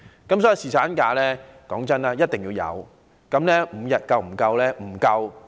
因此，侍產假是必須的，但5天足夠嗎？